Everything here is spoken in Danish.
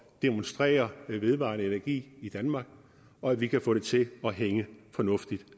demonstrere vedvarende energi i danmark og at vi kan få det til at hænge fornuftigt